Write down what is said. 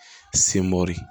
Senmori